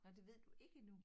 Nå det ved du ikke endnu